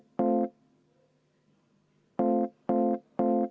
Ettepanek leidis toetust.